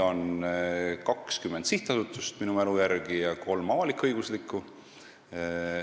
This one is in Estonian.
On 20 sellist sihtasutust, minu mälu järgi, ja kolm avalik-õiguslikku asutust.